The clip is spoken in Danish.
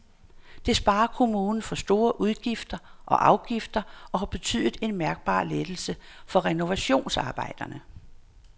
Det sparer kommunen for store udgifter og afgifter og har betydet en mærkbar lettelse for renovationsarbejderne.